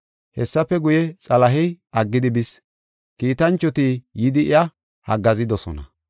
Hessafe guye, Xalahey aggidi bis; kiitanchoti yidi iya haggaazidosona.